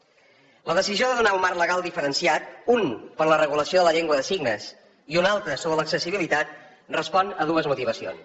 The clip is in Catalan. la decisió de donar un marc legal diferenciat un per a la regulació de la llengua de signes i un altre sobre l’accessibilitat respon a dues motivacions